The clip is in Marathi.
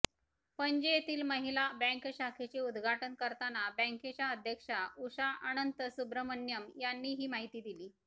पणजी येथील महिला बँक शाखेचे उद्घाटन करताना बँकेच्या अध्यक्षा उषा अनंतसुब्रह्मण्यम यांनी ही माहिती दिली